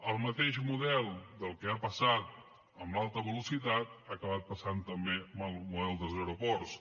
el mateix model del que ha passat amb l’alta velocitat ha acabat passant també amb el model dels aeroports